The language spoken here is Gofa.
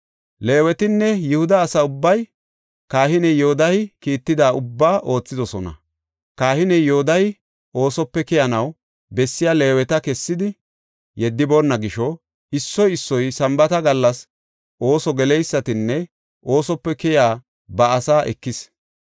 Leewetinne Yihuda asa ubbay kahiney Yoodahey kiitida ubbaa oothidosona. Kahiney Yoodahey oosope keyanaw bessiya Leeweta kessidi yeddiboonna gisho, issoy issoy Sambaata gallas ooso geleysatanne oosope keyiya ba asaa ekis.